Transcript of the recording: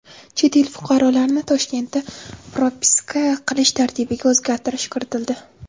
Chet el fuqarolarini Toshkentda propiska qilish tartibiga o‘zgartirish kiritildi.